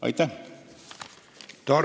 Aitäh!